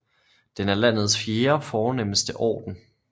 Den er landets fjerde fornemste orden